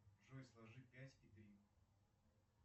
джой сложи пять и три